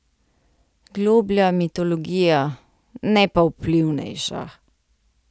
Globlja mitologija, ne pa vplivnejša.